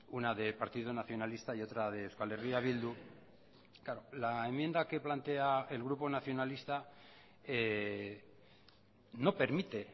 una de partido nacionalista y otra de euskal herria bildu claro la enmienda que plantea el grupo nacionalista no permite